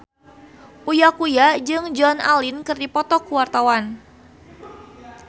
Uya Kuya jeung Joan Allen keur dipoto ku wartawan